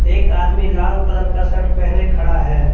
एक आदमी लाल कलर का शर्ट पहने खड़ा है।